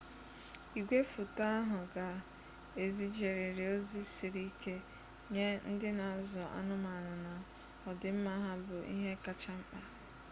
igwefoto ahụ ga ezijeriri ozi siri ike nye ndị na azụ anụmanụ na odịmma ha bụ ihe kacha mkpa